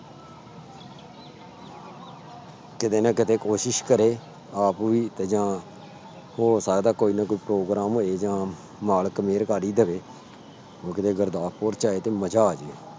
ਕਿਤੇ ਨਾ ਕਿਤੇ ਕੋਸ਼ਿਸ਼ ਕਰੇ ਆਪ ਵੀ ਤੇ ਜਾਂ ਹੋ ਸਕਦਾ ਕੋਈ ਨਾ ਕੋਈ program ਹੋਏ ਜਾਂ ਮਾਲਕ ਮਿਹਰ ਕਰ ਹੀ ਦੇਵੇ, ਉਹ ਕਿਤੇ ਗੁਰਦਾਸਪੁਰ ਚ ਆਏ ਤੇ ਮਜ਼ਾ ਆ ਜਾਏ।